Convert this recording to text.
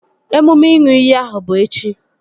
Emume ịṅụ iyi ahụ bụ echi